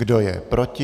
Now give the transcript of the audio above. Kdo je proti?